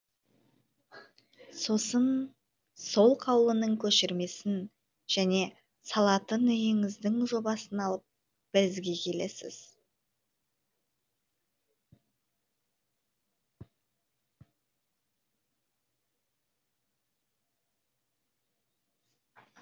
сосын сол қаулының көшірмесін және салатын үйіңіздің жобасын алып бізге келесіз